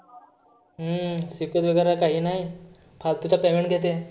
हम्म शिकवीत वगैरे काही नाही. फाल्तुचं payment घेते.